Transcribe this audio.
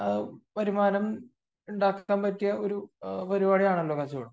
സ്വന്തമായിട്ട് ഒരു വരുമാനം ഉണ്ടാക്കുന്ന ഒരു പരിപാടിയാണല്ലോ കച്ചവടം